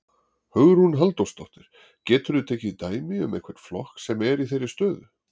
Hugrún Halldórsdóttir: Geturðu tekið dæmi um einhvern flokk sem er í þeirri stöðu?